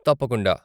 తప్పకుండా.